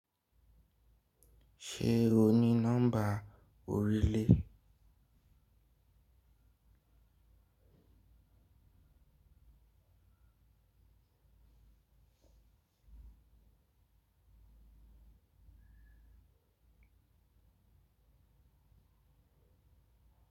Ṣé o ní nọ́mbà orílè?